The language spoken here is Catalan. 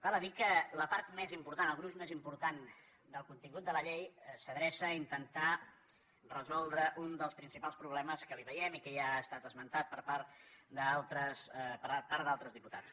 val a dir que la part més important el gruix més important del contingut de la llei s’adreça a intentar resoldre un dels principals problemes que hi veiem i que ja ha estat esmentat per part d’altres diputats